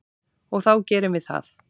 Og þá gerum við það.